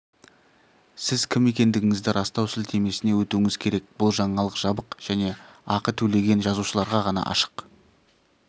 сіз кім екендігіңізді растау сілтемесіне өтуіңіз керек бұл жаңалық жабық және ақы төлеген жазылушыларға ғана ашық